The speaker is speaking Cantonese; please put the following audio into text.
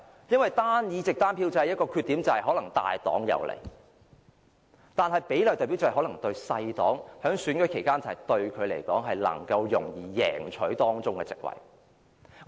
因為單議席單票制的一個缺點就是可能對大黨有利，但比例代表制可能令較小的政黨在選舉期間容易贏取當中的席位。